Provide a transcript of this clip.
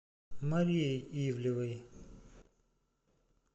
марией ивлевой